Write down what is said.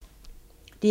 DR2